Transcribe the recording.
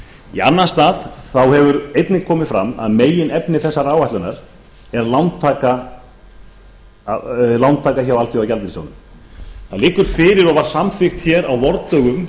í annan stað þá hefur einnig komið fram að meginefni þessarar áætlunar er lántaka hjá alþjóðagjaldeyrissjóðnum það liggur fyrir og var samþykkt hér á vordögum